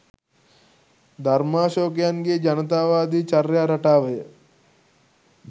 ධර්මාශෝකයන්ගේ ජනතාවාදි චර්යා රටාවය